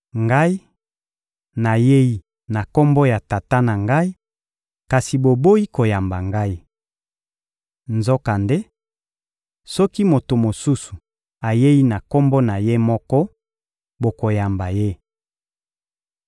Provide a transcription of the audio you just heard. Ngai, nayei na Kombo ya Tata na Ngai, kasi boboyi koyamba Ngai! Nzokande, soki moto mosusu ayei na kombo na ye moko, bokoyamba ye.